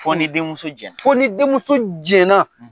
Fo ni denmuso jɛn na. Fo ni denmuso jɛn na.